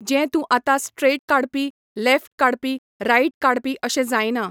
जें तूं आतां स्ट्रेट काडपी, लॅफ्ट काडपी, रायट काडपी, अशें जायना.